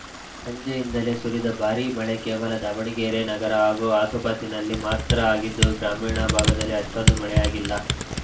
ಸಂಜೆಯಿಂದಲೇ ಸುರಿದ ಭಾರೀ ಮಳೆ ಕೇವಲ ದಾವಣಗೆರೆ ನಗರ ಹಾಗೂ ಆಸುಪಾಸಿನಲ್ಲಿ ಮಾತ್ರ ಆಗಿದ್ದು ಗ್ರಾಮೀಣ ಭಾಗದಲ್ಲಿ ಅಷ್ಟೊಂದು ಮಳೆಯಾಗಿಲ್ಲ